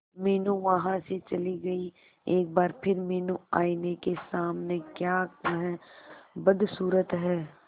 मीनू वहां से चली गई एक बार फिर मीनू आईने के सामने क्या वह बदसूरत है